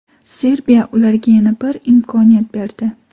Serbiya ularga yana bir imkoniyat berdi.